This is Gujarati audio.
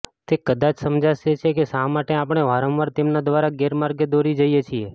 તે કદાચ સમજાવે છે કે શા માટે આપણે વારંવાર તેમના દ્વારા ગેરમાર્ગે દોરી જઈએ છીએ